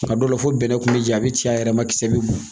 A dɔw la fo bɛnɛ kun bɛ ja a bɛ ci a yɛrɛ man kisɛsɛ bɛ bɔn.